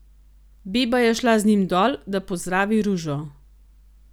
Beba je šla z njim dol, da pozdravi Ružo.